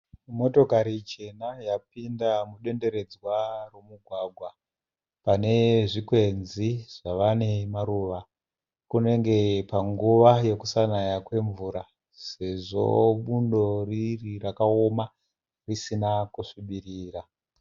Motokari chena yapinda mudenderedzwa remugwagwa pane zvikwenzi zvava nemaruva kunenge panguva yekusanaya kwemvura sezvo bundo riri rakaoma risina kusvibirira.